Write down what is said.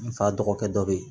N fa dɔgɔkɛ dɔ bɛ yen